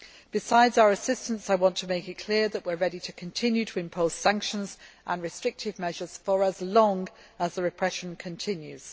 Besides our assistance, I want to make it clear that we are ready to continue to impose sanctions and restrictive measures for as long as the repression continues.